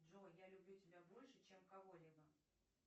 джой я люблю тебя больше чем кого либо